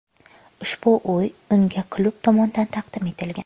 Ushbu uy unga klub tomonidan taqdim etilgan.